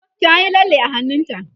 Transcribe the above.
ta Yi lalle a hannunta